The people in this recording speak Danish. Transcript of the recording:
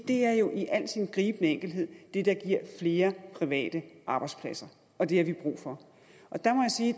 det er jo i al sin gribende enkelhed det der giver flere private arbejdspladser og det har vi brug for